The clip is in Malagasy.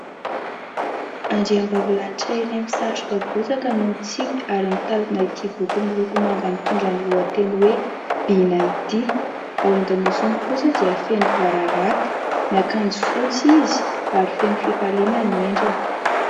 Andriambavilanitra iray misatroka bozaka no mitsiky ary mitazona itỳ boky miloko manga mitondra ny lohateny hoe Bina itỳ. Ao an-damosiny kosa dia feno bararata. Miakanjo fotsy izy ary feno fifaliana ny endriny.